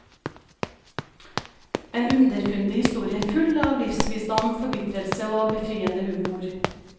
En underfundig historie, full av livsvisdom, forbitrelse og befriende humor.